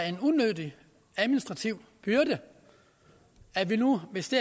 en unødig administrativ byrde at vi nu hvis det